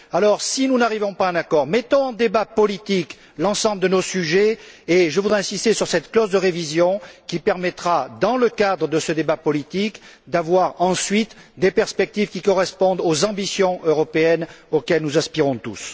Alors, si nous n'arrivons pas à un accord, ouvrons un débat politique sur l'ensemble de nos sujets, et je voudrais insister sur cette clause de révision qui permettra, dans le cadre de ce débat politique, d'ouvrir ensuite des perspectives qui correspondent aux ambitions européennes auxquelles nous aspirons tous.